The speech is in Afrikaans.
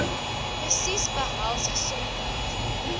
presies behels gesondheid